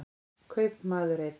Kaupmaður einn.